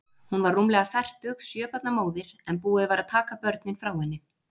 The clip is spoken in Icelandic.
Hún var rúmlega fertug, sjö barna móðir, en búið var að taka börnin frá henni.